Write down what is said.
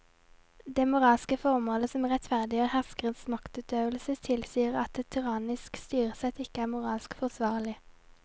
Det moralske formålet som rettferdiggjør herskerens maktutøvelse tilsier at et tyrannisk styresett ikke er moralsk forsvarlig.